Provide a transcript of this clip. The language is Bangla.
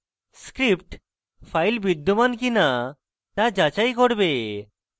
script file বিদ্যমান কিনা তা যাচাই করবে